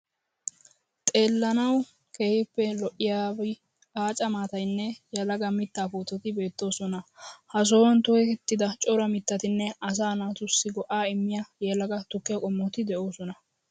Xeellanawu keehippe lo'iyab aaca maatayinne yelaga mittaa puutati beettoosona. Ha sohuwan tokettida cora mittatinne asaa naatussi go'aa immiya yelaga tukkiya qommoti de'oosona.